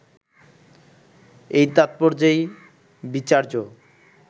এই তাৎপর্যেই বিচার্য